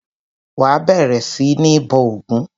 Wà á bẹ̀rẹ̀ sí ní bọ ògún!